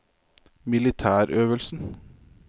militærøvelsen